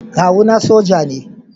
Kawuna soja ne.